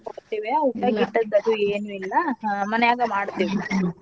ತರ್ಸಿರ್ತೇವ್ಯಾ ಊಟಕ್ ಗೀಟಕ್ ಅದು ಏನ್ ಇಲ್ಲಾ ಮನ್ಯಾಗ ಮಾಡ್ತೇವಿ.